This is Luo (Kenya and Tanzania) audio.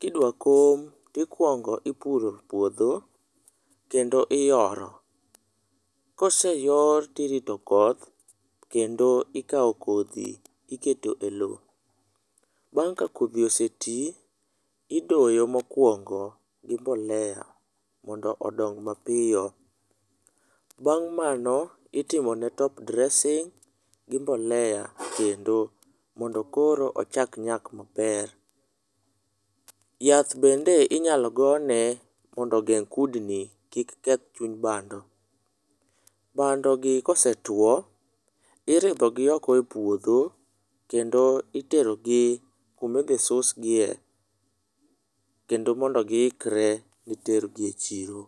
Kidwa kom, tikuongo ipuro puodho kendo iyoro, koseyor tirito koth kendo ikao kodhi iketo e lo. Bang' ka kodhi oseti, idoyo mokuongo gi mbolea mondo odong mapiyo. Bang' mano itimone top dressing gi mbolea kendo mondo koro ochak nyak maber. Yath bende inyalo go ne mondo ogeng' kudni kik keth chuny bando. Bandogi kosetuo, iridhogi oko e puodho kendo iterogi kumidhi susgie, kendo mondo giikre ni tergi e chiro.